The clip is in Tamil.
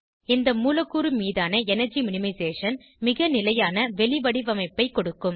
இந்த மூலக்கூறு மீதான எனர்ஜி மினிமைசேஷன் மிக நிலையான வெளிவடிவமைப்பை கொடுக்கும்